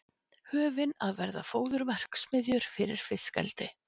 Höfin að verða fóðurverksmiðjur fyrir fiskeldi